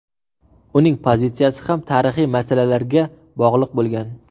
Uning pozitsiyasi ham tarixiy masalalarga bog‘liq bo‘lgan.